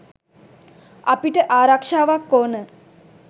අපිට ආරක්ෂාවක් ඕන